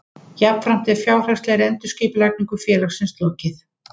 Jafnframt er fjárhagslegri endurskipulagningu félagsins lokið